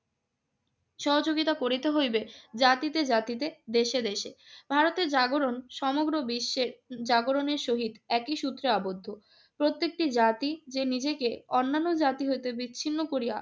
সহযোগিতা করিতে হইবে জাতিতে জাতিতে, দেশে দেশে। ভারতের জাগরণ সমগ্র বিশ্বের জাগরণের সহিত একই সূত্রে আবদ্ধ। প্রত্যেকটি জাতি যে নিজেকে অন্যান্য জাতি হইতে বিচ্ছিন্ন করিয়া